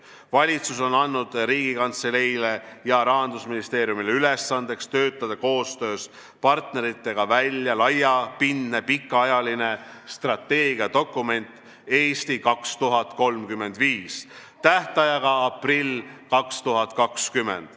Valitsus on andnud Riigikantseleile ja Rahandusministeeriumile ülesandeks töötada koostöös partneritega välja laiapindne pikaajaline strateegiadokument "Eesti 2035" aprilliks 2020.